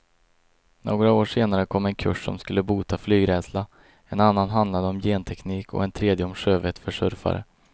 Några år senare kom en kurs som skulle bota flygrädsla, en annan handlade om genteknik och en tredje om sjövett för surfare.